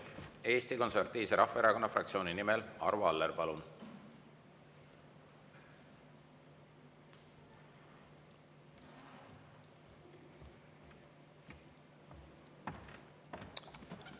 Eesti Konservatiivse Rahvaerakonna fraktsiooni nimel Arvo Aller, palun!